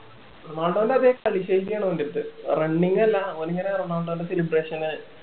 റൊണാൾഡോന്റെ അതെ കളി ശൈലി ആണ് അവൻ്റെ അടുത്ത് running അല്ല ഓൻ ഇങ്ങനെ നടന്നോണ്ട് തന്നെ celeberation ന്